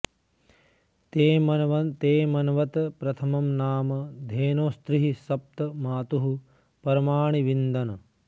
ते म॑न्वत प्रथ॒मं नाम॑ धे॒नोस्त्रिः स॒प्त मा॒तुः प॑र॒माणि॑ विन्दन्